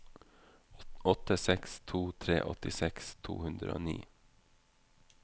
åtte seks to tre åttiseks to hundre og ni